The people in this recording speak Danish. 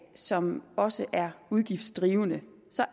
som også er udgiftsdrivende